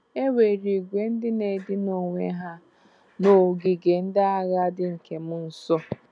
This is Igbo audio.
E nwere ìgwè ndị na-edina onwe ha n’ogige ndị ágha dị nke m nsó.